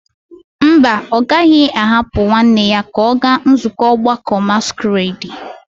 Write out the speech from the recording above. Mba, ọ gaghị ahapụ nwanne ya ka ọ gaa nzukọ ọgbakọ masquerade.